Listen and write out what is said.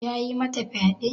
Yayi mata fyade?